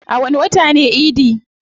A wani wata ne idi?